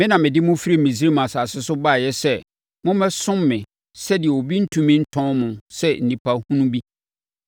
Me na mede mo firi Misraim asase so baeɛ sɛ mommɛsom me sɛdeɛ obi rentumi ntɔn mo sɛ nnipa hunu bi